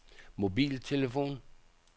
mobiltelefon